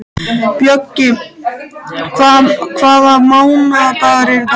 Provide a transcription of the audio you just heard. Bjöggi, hvaða mánaðardagur er í dag?